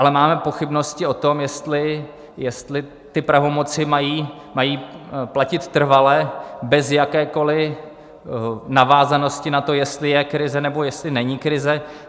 Ale máme pochybnosti o tom, jestli ty pravomoci mají platit trvale bez jakékoli navázanosti na to, jestli je krize, nebo jestli není krize.